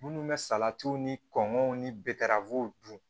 Minnu bɛ salatiw ni kɔngɔ ni baaw dun